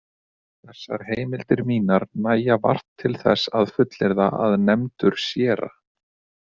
Þessar heimildir mínar nægja vart til þess að fullyrða að nefndur séra